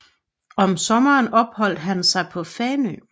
Om sommeren opholdt han sig på Fanø